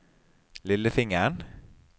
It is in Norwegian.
lillefingeren